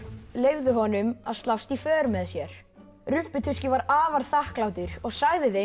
leyfðu honum að slást í för með sér var afar þakklátur og sagði þeim